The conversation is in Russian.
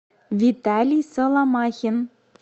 виталий соломахин